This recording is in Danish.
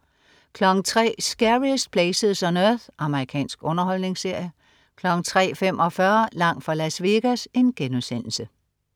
03.00 Scariest Places on Earth. Amerikansk underholdningsserie 03.45 Langt fra Las Vegas*